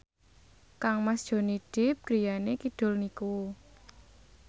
kangmas Johnny Depp griyane kidul niku